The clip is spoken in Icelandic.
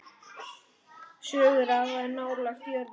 Sögur of nálægt jörðu.